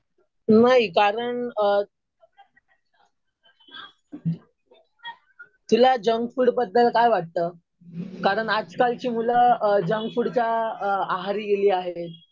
नाही. कारण तुला जंक फूड बद्दल काय वाटतं? कारण आजकालची मुलं जंक फूडच्या आहारी गेली आहे.